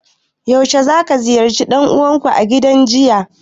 Yaushe zaka ziyarci dan uwanku a gidan jinya?